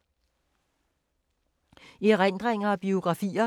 Erindringer og biografier